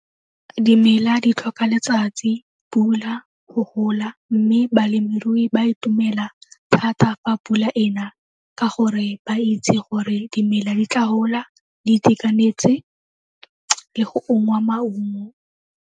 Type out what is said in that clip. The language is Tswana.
Dimela di tlhoka letsatsi, pula go gola mme balemirui ba itumela thata fa pula e na ka gore ba itse gore dimela di tla gola di itekanetse le go ungwa maungo.